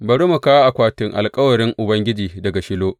Bari mu kawo akwatin alkawarin Ubangiji daga Shilo.